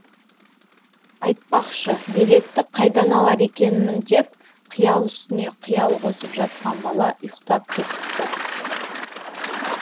айтпақшы билетті қайдан алар екенмін деп қиял үстіне қиял қосып жатқан бала ұйықтап кетіпті